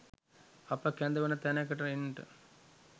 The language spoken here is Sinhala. අප කැඳවන තැනකට එන්ට